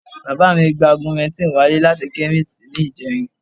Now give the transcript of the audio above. Bàbá mi gba augmentin wálé láti chemist ní ìjẹrin